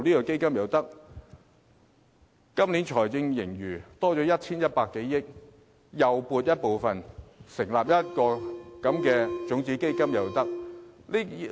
今年的財政盈餘增加至 1,100 多億元，亦可撥出部分盈餘來成立種子基金。